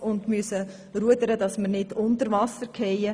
Wir müssen ständig rudern, um nicht zu sinken.